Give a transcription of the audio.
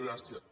gràcies